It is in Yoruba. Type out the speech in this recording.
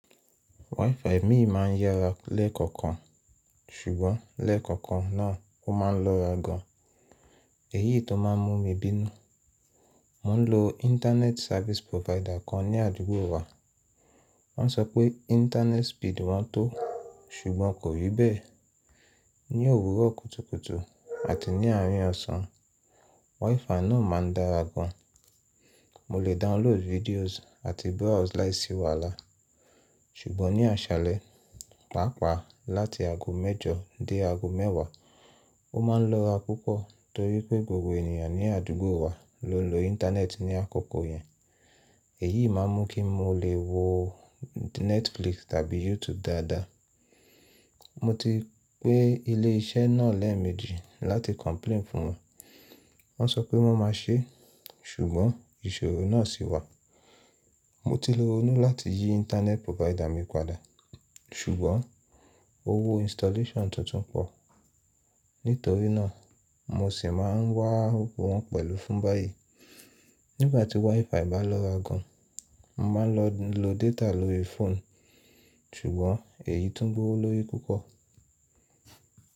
WiFi mi máá ń yára lẹ́ẹ̀kọ̀kan, ṣùgbọ́n lẹ́ẹ̀kọ̀kan náà ó máa ń lọ́ra gan. Èyí tó máà ń mú mi bínú. Mo ń lo internet service provider kan ní àdúgbò wa. Wọ́n sọ pé internet speed wọn tọ́, ṣùgbọ́n kò rí bẹ́ẹ̀. Ni òwúrọ̀ kùtùkùtù àti ní àárín ọ̀sán, WiFi náà máa ń dára gan. Mo lè download videos àti browse láìsí wàhálà. Ṣùgbọ́n ní àṣálẹ́, pàápàá láti ago mẹ́jọ dé ago mẹ́wàá, ó ma ń lọ́ra púpọ̀ torí pé gbogbo ènìyàn ní àdúgbò wa ló ń lo internet ní àkọ́kọ́ yẹn. Èyí máà ń mú kí n mo lè wo Netflix tàbí YouTube dáadáa. Mo ti pe ilé iṣẹ́ náà lẹ́ẹ̀méjì láti complain fún wọn. Wọ́n sọ pé wọ́n maa ṣé, ṣùgbọ́n ìṣòro náà sì wà. Mo ti rọnú láti yí internet provider mi padà, ṣùgbọ́n owó installation tuntun pọ̀. Nítorí náà, mo sì máà ń wá owó wọn pẹ̀lú fún báyìí. Nígbà tí WiFi bá lọ́ra gan, mo máà ń lọ lo data lórí fóònù, ṣùgbọ́n èyí tún gbọ́wọ́lórí púpọ̀.